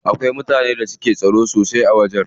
Akwai mutanen da suke tsaro sosai a wajen.